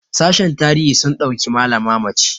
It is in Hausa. sashen tarihi sun ɗauki malama mace